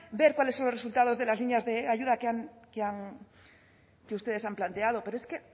ver cuáles son los resultados de las líneas de ayuda que ustedes han planteado pero es que